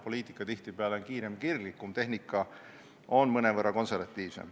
Poliitika on tihtipeale kiirem ja kirglikum, tehnika on mõnevõrra konservatiivsem.